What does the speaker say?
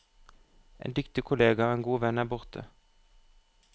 En dyktig kollega og en god venn er borte.